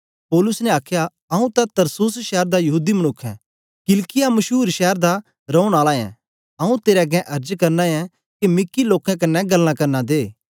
पौलुस ने आखया आंऊँ तां तरसुस शैर दा यहूदी मनुक्ख ऐं किलिकिया मशूर शैर दा रौन आला ऐं आंऊँ तेरे अगें अर्ज करना ऐं के मिकी लोकें कन्ने गल्लां करना दे